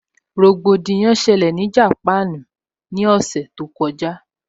Rògbòdìyàn ṣẹlẹ̀ ní Japan ní ọ̀sẹ̀ tó kọjá